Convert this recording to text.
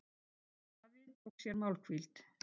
Daði tók sér málhvíld.